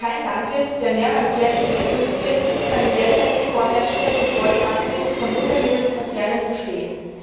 Kein Landwirt, der mehrmals jährlich überprüft wird, kann die derzeit vorherrschende Kontrollpraxis von Futtermittelkonzernen verstehen.